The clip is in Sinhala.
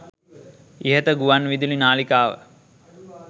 ඉහත ගුවන් විදුලි නාලිකාව